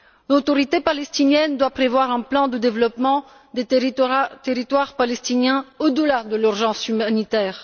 L'autorité palestinienne doit prévoir un plan de développement des territoires palestiniens au delà de l'urgence humanitaire.